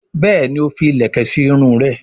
Béèni o fí ilẹkẹ sí Irun rẹ.